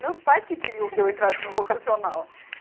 Meus pais que queriam que eu entrasse no vocacional.